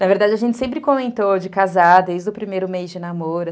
Na verdade, a gente sempre comentou de casar desde o primeiro mês de namoro.